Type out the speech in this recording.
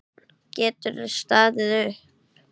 Geturðu staðið upp?